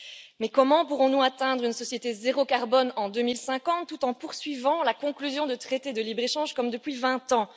Mais comment pourrons nous atteindre une société zéro carbone en 2050 tout en poursuivant la conclusion de traités de libre échange comme depuis vingt ans?